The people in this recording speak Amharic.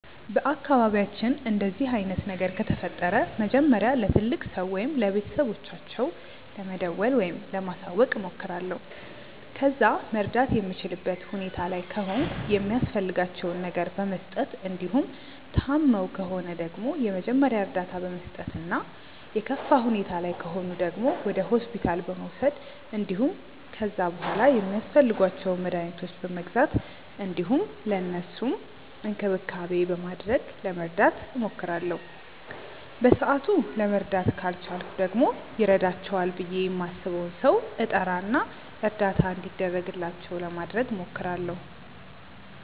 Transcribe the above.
በአካባቢያችን እንደዚህ አይነት ነገር ከተፈጠረ መጀመሪያ ለትልቅ ሰው ወይም ለቤተሰቦቻቸው ለመደወል ወይም ለማሳወቅ እሞክራለሁ። ከዛ መርዳት የምችልበት ሁኔታ ላይ ከሆንኩ የሚያስፈልጋቸውን ነገር በመስጠት እንዲሁም ታመው ከሆነ ደግሞ የመጀመሪያ እርዳታ በመስጠት እና የከፋ ሁኔታ ላይ ከሆኑ ደግሞ ወደ ሆስፒታል በመውሰድ እንዲሁም ከዛ በሗላ ሚያስፈልጓቸውን መድኃኒቶች በመግዛት እንዲሁም ለእነሱም እንክብካቤ በማድረግ ለመርዳት እሞክራለሁ። በሰአቱ ለመርዳት ካልቻልኩ ደግሞ ይረዳቸዋል ብዬ ማስበውን ሰው እጠራ እና እርዳታ እንዲደረግላቸው ለማድረግ እሞክራለሁ።